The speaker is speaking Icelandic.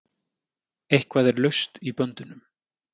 Eitthvað er laust í böndunum